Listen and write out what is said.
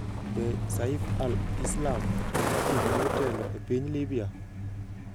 Be Saif al-Islam Gaddafi nyalo telo e piny Libya?